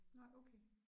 Nej okay